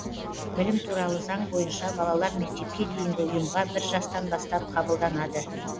білім туралы заң бойынша балалар мектепке дейінгі ұйымға бір жастан бастап қабылданады